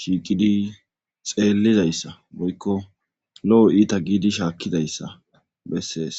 shiiqidi xeellizayssa boykko lo7o iita giidi shaakkizayssa bessees